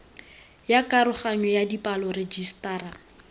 ya karoganyo ya dipalo rejisetara